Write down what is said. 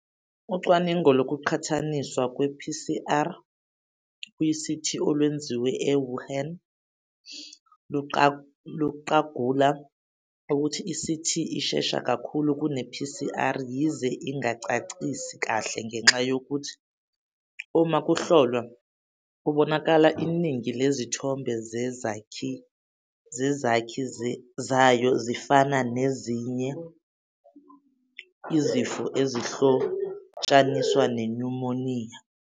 Ucwaningo lokuqhathaniswa kwe-PCR kwi-CT olwenziwe e-Wuhan luqagula ukuthi i-CT ishesha kakhulu kune-PCR yize ingacacisi kahle ngenxa yokuthi uma kuhlolwa kubonakala iningi lezithombe zezakhi zayo zifana nezinye izifo ezihlotshaniswa nenyumoniya.